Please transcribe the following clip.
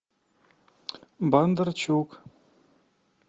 бондарчук